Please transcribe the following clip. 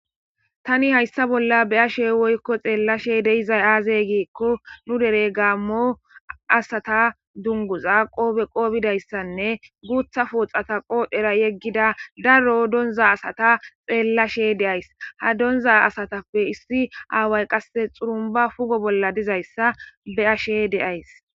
tani hayssa bolla be'ashe woykko xeellashe dizay aazey giekko nu dere gaamo asata dunguza qoobe qoobbidayssanne guutha fooxata qoodhera yeggida daro donza asata xeellashe de'ays ha donza asatappe issi aaway qasse xurumba pugo bolla dizayssa be ashe de'ays